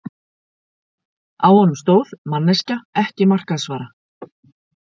Á honum stóð: Manneskja- ekki markaðsvara.